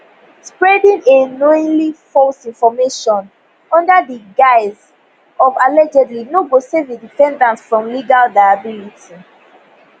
spreading a knowingly false information under di guise of allegedly no go save a defendant from legal liability